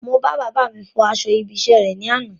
Mo bá bàbáà mi fọ aṣọ ibi iṣẹ́ rè ní àná.